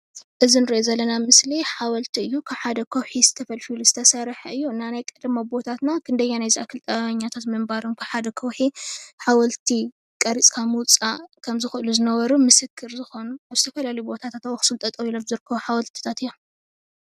እዚ አንረእዮ ዘለና ምሰሊ ሓወልቲ እዩ። ካብ ሓደ ከውሒ ተፈልፊሉ ዝተስርሐ እዩ። ናይ ቀደም ኣቦታትና ክንደየናይ ዝኣክል ጥበበኛታት ምንባሮም ብሓደ ከውሒ ሓወልቲ ቀሪፅካ ምውፃእ ከምዝክእሉ ዝነበሩ ምሰከር ዝኮኑ ብዝተፈላለዩ ቦታታት ኣብ ኣክሱም ጠጠው ኢሎም ዝርከቡ ሓወልቲታት እዮም።